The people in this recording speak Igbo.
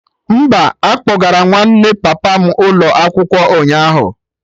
Mba, akpọgara nwanne papa m ụlọ ọgwụ ụnyaahụ